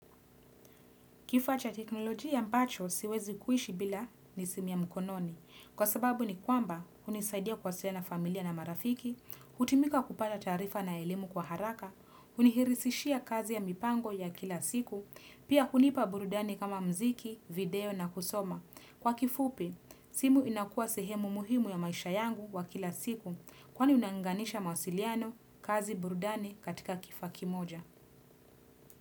Kifaa cha teknoloji ambacho siwezi kuishi bila ni simu ya mkononi. Kwa sababu ni kwamba hunisaidia kuwasiliana familia na marafiki, hutimika kupata tarifa na elimu kwa haraka, hunirahisishia kazi ya mipango ya kila siku, pia hunipa burudani kama mziki, video na kusoma. Kwa kifupi, simu inakua sehemu muhimu ya maisha yangu wa kila siku kwani unaunganisha mawasiliano kazi burudani katika kifaa moja.